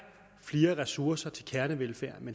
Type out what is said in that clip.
flere ressourcer til kernevelfærden